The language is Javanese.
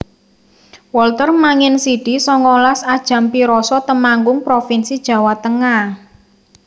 Wolter Manginsidi songolas A Jampiroso Temanggung provinsi Jawa Tengah